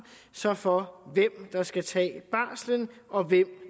så for hvem der skal tage barslen og hvem